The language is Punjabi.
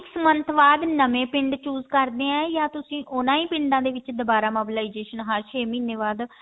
six month ਬਾਅਦ ਨਵੇਂ ਪਿੰਡ choose ਕਰਦੇ ਹੀ ਯਾ ਤੁਸੀਂ ਉਹਨਾ ਹੀ ਪਿੰਡਾਂ ਦੇ ਵਿੱਚ ਦੁਬਾਰਾ mobilization ਹਰ ਛੇ ਮਹੀਨੇ ਬਾਅਦ